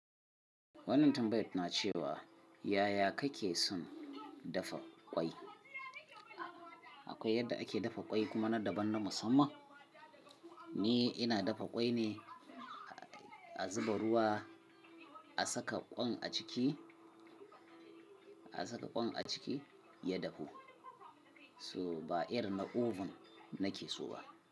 Wannan tambayan na ce wa yaya kake son dafa ƙwai? Akwai yadda ake dafa ƙwai kuma na daban na musamman. Ni ina dafa ƙwai ne, a zuba ruwa, a saka ƙwan a ciki, a saka ƙwan a ciki ya dafu. So ba irin na oven nake so ba.